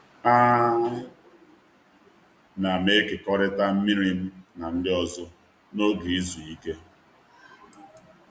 A na'm ekekọrịta mmiri m na ndị ọzọ n’oge izu ike.